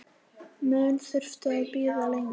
Mun þurfa að bíða lengi.